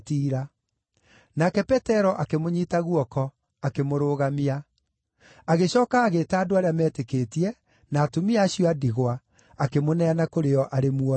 Nake Petero akĩmũnyiita guoko, akĩmũrũgamia. Agĩcooka agĩĩta andũ arĩa meetĩkĩtie, na atumia acio a ndigwa, akĩmũneana kũrĩ o arĩ muoyo.